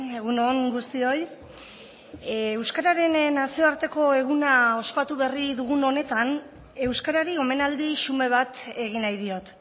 egun on guztioi euskararen nazioarteko eguna ospatu berri dugun honetan euskarari omenaldi xume bat egin nahi diot